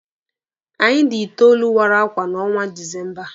Anyị dị itoolu wara akwa n'ọnwa Disemba.